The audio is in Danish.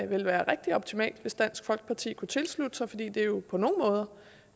ville være rigtig optimalt hvis dansk folkeparti kunne tilslutte sig fordi det jo på